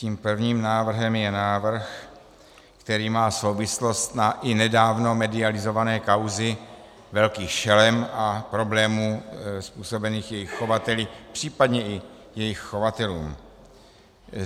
Tím prvním návrhem je návrh, který má souvislost na i nedávno medializované kauzy velkých šelem a problémů způsobených jejich chovateli, případně i jejich chovatelům.